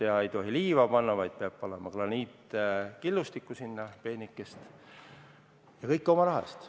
Enam ei tohi liiva panna, vaid peab panema peent graniitkillustikku, ja oma raha eest.